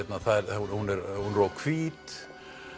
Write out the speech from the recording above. hún er of hvít